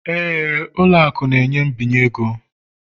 Éè, ụlọ akụ na-enye mbinye ego